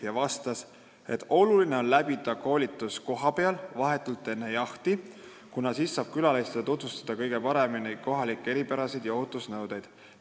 Ta ütles, et oluline on läbida koolitus kohapeal, vahetult enne jahti, kuna siis saab külalistele kõige paremini tutvustada kohalikke eripärasid ja ohutusnõudeid.